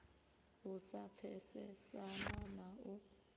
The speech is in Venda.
u sa pfesesana na u